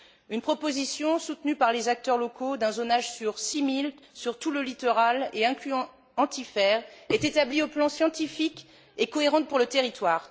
Une proposition soutenue par les acteurs locaux d'un zonage sur 6 milles sur tout le littoral et incluant Antifer est établie au plan scientifique et cohérente pour le territoire.